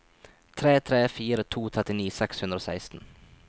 tre tre fire to trettini seks hundre og seksten